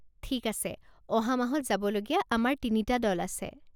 ঠিক আছে, অহা মাহত যাবলগীয়া আমাৰ তিনিটা দল আছে।